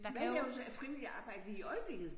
Hvad laver du så af frivilligt arbejde lige i øjeblikket